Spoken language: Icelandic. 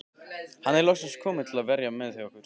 Hann er loksins kominn til að vera hjá okkur.